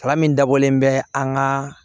Kalan min dabɔlen bɛ an ka